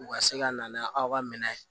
U ka se ka na n'aw ka minɛ ye